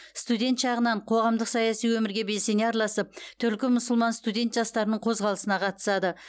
студент шағынан қоғамдық саяси өмірге белсене араласып түркі мұсылман студент жастарының қозғалысына қатысады